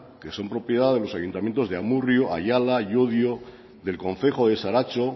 que son propiedad de los ayuntamientos de amurrio ayala llodio del concejo de saratxo